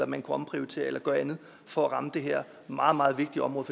man kunne omprioritere eller gøre andet for at ramme det her meget meget vigtige område